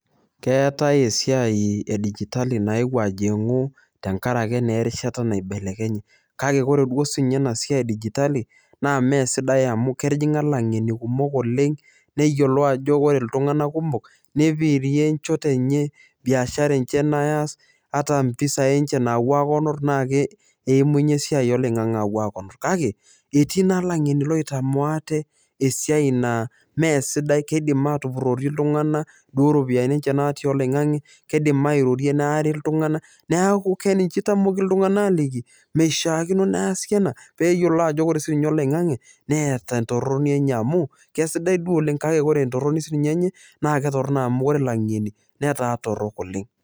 Keetai esiai edijitali naewuo ajing'u tenkaraki naa erishata naibelekenye. Kake ore sii ninye ena siai edigitali naa mee sidai amu ketijing'a ilang'eni kumok oleng neyiolou ajo ore iltung'ana kumok neipirie inchot enye, biashara enye neas ata impisai enche nawuo akonor naake eimunye esiai oloing'ang'e awuo akonor. Kake etii naa ilang'eni oitamoo ate esiai naa mesidai, keidim atupuroki iltung'ana duo iropiani enye natii oloing'ang'e, keidim airorie neari iltung'ana, neaku ninye eitamoki iltung'ana aliki, meishakino neasi ena peyolou ajo ore sii ninye oloing'ang'e neata entoroni enye amu kesidai duo oleng kake ore entoroni enye amu kesidai duo oleng kake ore entoroni siininye enye naketorino amu ore lang'eni netaa torrok oleng.